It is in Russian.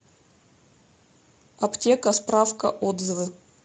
аптека справка отзывы